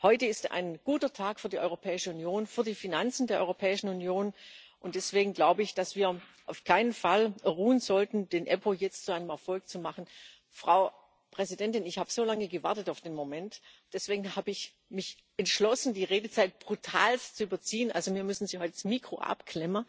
Heute ist ein guter Tag für die Europäische Union, für die Finanzen der Europäischen Union, und deswegen glaube ich, dass wir auf keinen Fall ruhen sollten, die EPPO jetzt zu einem Erfolg zu machen. Frau Präsidentin, ich habe so lange auf den Moment gewartet, deswegen habe ich mich entschlossen, die Redezeit brutal ist zu überziehen, also mir müssen Sie heute das Mikro abklemmen,